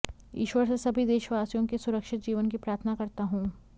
ईश्वर से सभी देशवासियों के सुरक्षित जीवन की प्रार्थना करता हूं